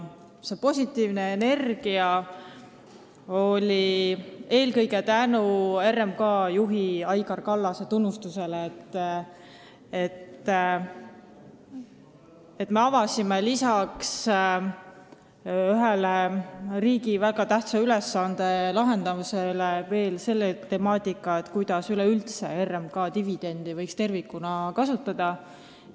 See positiivne energia tuli eelkõige RMK juhi Aigar Kallase tunnustusest, et me lisaks ühe väga tähtsa riigi ülesande lahendamisele avasime selle temaatika, kuidas üleüldse võiks RMK dividende tervikuna kasutada.